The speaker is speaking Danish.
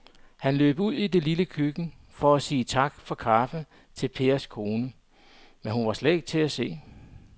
Han løb ud i det lille køkken for at sige tak for kaffe til Pers kone, men hun var ikke til at se.